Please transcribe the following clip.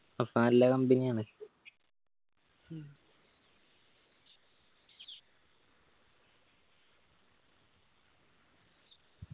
അപ്പൊ നല്ല company ആണ്